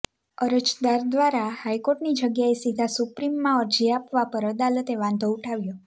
અરજદાર દ્વારા હાઈકોર્ટની જગ્યાએ સીધા સુપ્રીમે માં અરજી આપવા પર અદાલતે વાંધો ઊઠાવ્યો